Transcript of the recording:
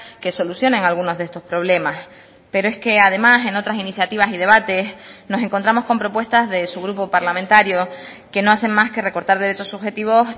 que solucionen algunos de estos problemas pero es que además en otras iniciativas y debates nos encontramos con propuestas de su grupo parlamentario que no hacen más que recortar derechos subjetivos